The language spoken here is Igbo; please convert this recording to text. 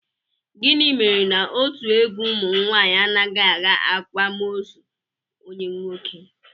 Gịnị mere na otu egwu ụmụnwaanyị anaghị aga akwamozu onye nwoke?